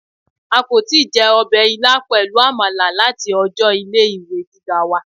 A kò tíì je ọbè ilá pẹlú àmàlà láti ọjọ ilé ìwé gíga wa